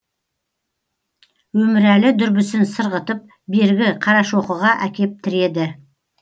өмірәлі дүрбісін сырғытып бергі қарашоқыға әкеп тіреді